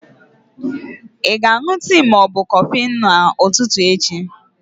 Ị ga-aṅụ tii ma ọ bụ kọfị n'ụtụtụ echi?